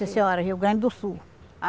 Sim, senhora, Rio Grande do Sul.